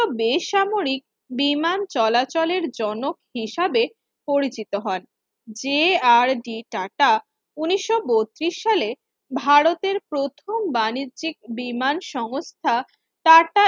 বেসামরিক বিমান চলাচলের জনক হিসেবে পরিচিত হন যে আর ডি টাটা উনিশও বত্তিরিশ সালে ভারতের প্রথম বাণিজ্যিক বিমান সংস্থা টাটা